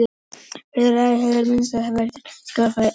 Í fyrsta lagi hefur gerð misgengisins sem veldur skjálftanum áhrif.